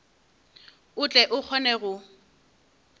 o tle o kgone go